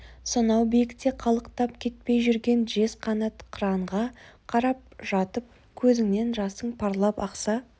сонау биікте қалықтап кетпей жүрген жез қанат қыранға қарап жатып көзіңнен жасың парлап ақса